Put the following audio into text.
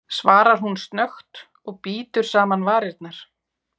svarar hún snöggt og bítur saman varirnar.